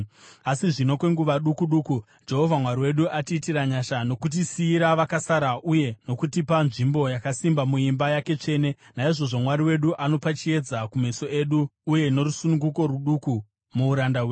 “Asi zvino, kwenguva duku duku, Jehovha Mwari wedu atiitira nyasha nokutisiyira vakasara uye nokutipa nzvimbo yakasimba muimba yake tsvene, naizvozvo Mwari wedu anopa chiedza kumeso edu uye norusununguko ruduku muuranda hwedu.